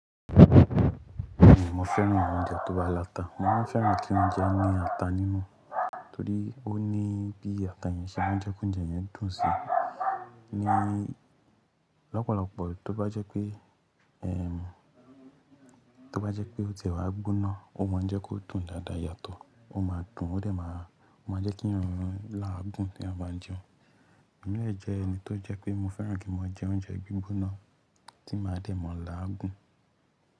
Mo fẹ́ràn oúnjẹ tó bá láta. Mo maa n fẹ́ràn kí oúnjẹ ní ata nínú, torí ó ní bí ata yẹn ṣe máa ń jẹ́ koúnjẹ yẹn dùn sí i. Lọ́pọ̀lọpọ̀ tó bá jẹ́ pé, tó bá jẹ́ pé ó tie wá gbóná, ó máa ń jẹ́ kó dùn dáadáa yàtọ̀, ó máa dùn, ó de máa, o maa n jẹ́ keeyan láagùn teeyan bá n jẹ. Emí dè jẹ ẹni tó jẹ́ pé mo fẹ́ràn kí n mo jẹ oúnjẹ gbígbóná tí máa dẹ̀ mọ́ láagùn.